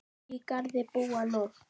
Á Garði búa nú